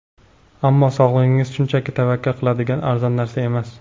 Ammo sog‘lig‘ingiz shunchaki tavakkal qiladigan arzon narsa emas.